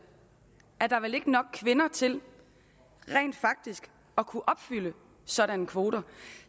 ikke er nok kvinder til rent faktisk at kunne opfylde sådanne kvoter